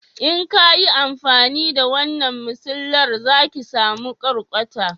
in kayi amfani da wannan masilar za ki samu kwarkwata